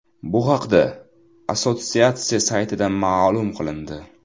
Bu haqda assotsiatsiya saytida ma’lum qilindi .